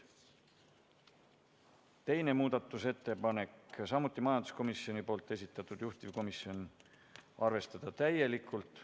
2. muudatusettepanek, samuti majanduskomisjoni esitatud, juhtivkomisjon: arvestada täielikult.